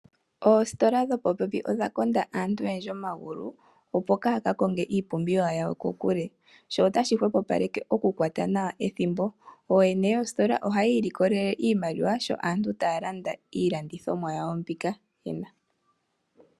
Oositola dho popepi odha konda aantu oyendji omagulu opo kaya ka konge iipumbiwa yawo ko kule, sho otashi hopopaleke oku kwata nawa ethimbo ooyene yoositola ohaya ilikololele iimaliwa sho aantu taya landa iilandithomwa yawo mbika.